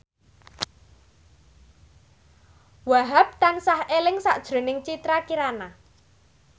Wahhab tansah eling sakjroning Citra Kirana